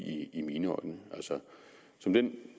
i mine øjne som den